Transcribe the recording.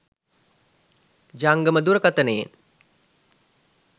ජංගම දුරකතනයෙන්